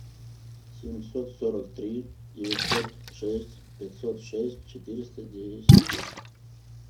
семьсот сорок три девятьсот шесть пятьсот шесть четыреста десять